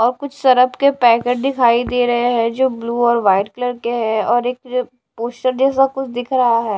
और कुछ सरफ के पैकेट दिखाई दे रहे है जो ब्ल्यू और व्हाइट कलर के है और एक कुछ दिख रहा है।